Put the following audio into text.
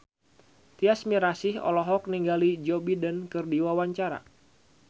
Tyas Mirasih olohok ningali Joe Biden keur diwawancara